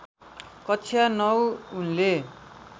कक्षा ९ उनले